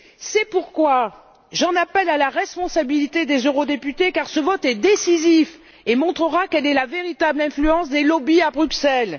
C'est pourquoi j'en appelle à la responsabilité des eurodéputés car ce vote est décisif et montrera quelle est la véritable influence des lobbies à Bruxelles.